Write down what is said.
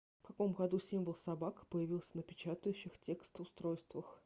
в каком году символ собака появился на печатающих текст устройствах